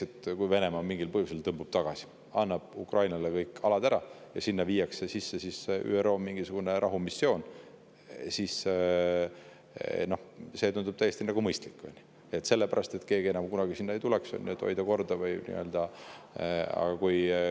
Näiteks, kui Venemaa mingil põhjusel tagasi tõmbub, annab Ukrainale kõik alad ja sinna viiakse sisse mingisugune ÜRO rahumissioon, siis see tundub täiesti mõistlik selle jaoks, et keegi enam kunagi sinna ei tuleks, ja selleks, et hoida seal korda.